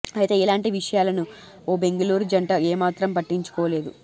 అయితే ఇలాంటి విషయా లను ఓ బెంగళూరు జంట ఏమాత్రం పట్టించుకోలేదు